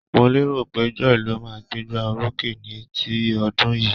Mo lérò pé Joy ló máa gbégbá orókè ní ti ọdún yìí.